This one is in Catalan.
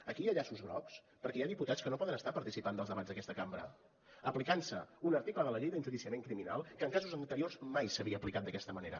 aquí hi ha llaços grocs perquè hi ha diputats que no poden estar participant dels debats d’aquesta cambra aplicant se un article de la llei d’enjudiciament criminal que en casos anteriors mai s’havia aplicat d’aquesta manera